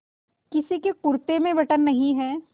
किसी के कुरते में बटन नहीं है